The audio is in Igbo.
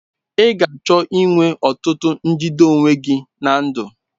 Ị ga-achọ inwe ọtụtụ njide onwe gị na ndụ.